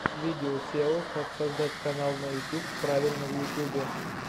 видео сео как создать канал на ютуб правильно в ютюбе